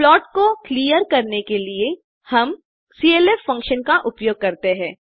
plot को clear करने के लिए हम clf फंक्शन का उपयोग करते हैं